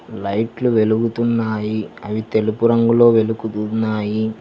లైట్లు వెలుగుతున్నాయి అవి తెలుపు రంగులో వెలుగుతున్నాయి.